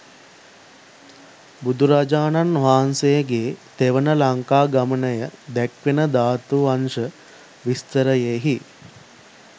බුදුරජාණන් වහන්සේගේ තෙවන ලංකාගමනය දැක්වෙන ධාතුවංශ විස්තරයෙහි